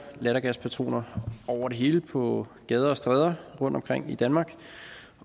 lattergaspatroner over det hele på gader og stræder rundtomkring i danmark